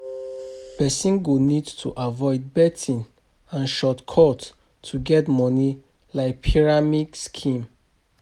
Person go need to avoid and shortcut to get money like